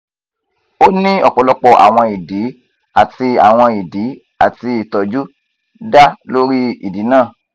o ni ọpọlọpọ awọn idi ati awọn idi ati itọju da lori idi naa